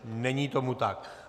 Není tomu tak.